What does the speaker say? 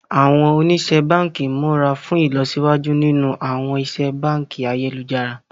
Àwọn oníṣẹ́ báǹkì múra fún ìlọsíwájú nínú àwọn ìṣe báǹkì ayélujára